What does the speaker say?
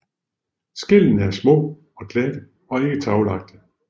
Skællene er små og glatte og ikke taglagte